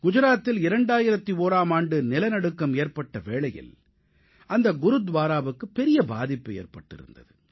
குஜராத்தில் 2001ஆம் ஆண்டு நிலநடுக்கம் ஏற்பட்ட வேளையில் அந்த குருத்வாராவுக்கு பெரிய பாதிப்பு ஏற்பட்டிருந்தது